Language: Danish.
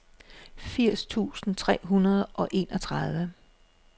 firs tusind tre hundrede og enogtredive